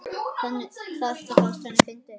Þetta fannst henni fyndið.